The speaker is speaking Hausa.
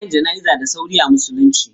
Ana yin jana'iza da sauri a musulunci.